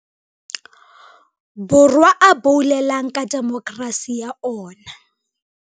Borwa a boulelang ka demokerasi ya ona.